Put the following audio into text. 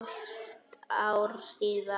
Hálft ár síðan.